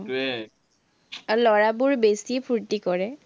আৰু ল'ৰাবোৰ বেছি ফুৰ্টি কৰে।